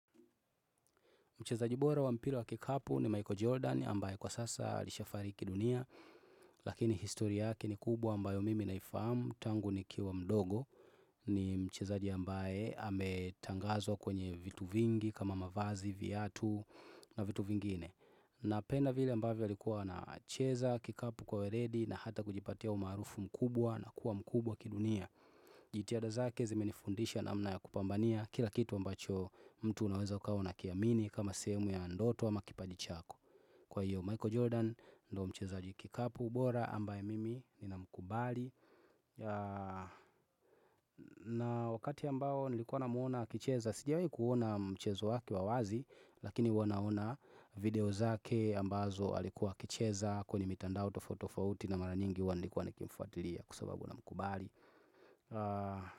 Mchezaji bora wa mpira wa kikapu ni Michael Jordan ambaye kwa sasa alishafariki dunia, lakini histori yake ni kubwa ambayo mimi naifahamu. Tangu nikiwa mdogo ni mchezaji ambaye ametangazwa kwenye vitu vingi kama mavazi, viatu na vitu vingine. Napenda vile ambavyo alikuwa anacheza, kikapu kwa uweledi na hata kujipatia umaarufu mkubwa na kuwa mkubwa kidunia jitihada zake zimenifundisha namna ya kupambania kila kitu ambacho mtu unaweza ukawa unakiamini kama sehemu ya ndoto ama kipaji chako. Kwa hiyo Michael Jordan ndo mchezaji kikapu bora ambaye mimi nina mkubali na wakati ambao nilikuwa namuona akicheza, sijawahi kuona mchezo wake wa wazi, lakini huwa naona video zake ambazo alikuwa akicheza kwenye mitandao tofauti tofauti na mara nyingi huwa nilikuwa nikimfuatilia kwa sababu namkubali.